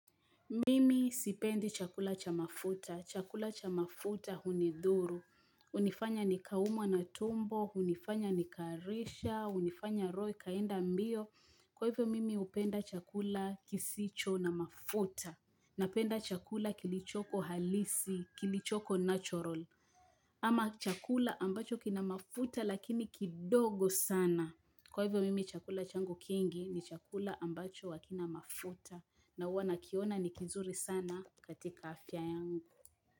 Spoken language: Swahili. Mimi sipendi chakula cha mafuta. Chakula cha mafuta hunidhuru. Hunifanya nikaumwa na tumbo, hunifanya nikaharisha, hunifanya roho ikaenda mbio. Kwa hivyo, mimi hupenda chakula kisicho na mafuta. Napenda chakula kilichoko halisi, kilichoko natural. Ama chakula ambacho kina mafuta lakini kidogo sana. Kwa hivyo, mimi chakula changu kingi ni chakula ambacho hakina mafuta. Na huwa nakiona ni kizuri sana katika afya yangu.